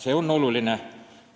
See on oluline.